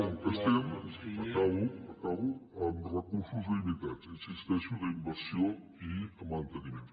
com el que estem acabo amb recursos limitats hi insisteixo d’inversió i manteniment